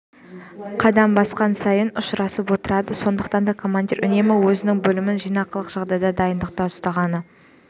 қадам басқан сайын ұшырасып отырады сондықтан да командир үнемі өзінің бөлімін жинақылық жағдайда дайындықта ұстағаны